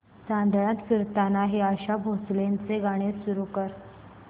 चांदण्यात फिरताना हे आशा भोसलेंचे गाणे सुरू कर